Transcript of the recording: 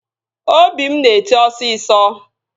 Obi m na-eti osisọ